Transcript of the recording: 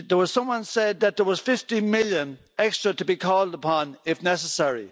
Someone said that there was 50 million extra to be called upon if necessary.